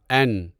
N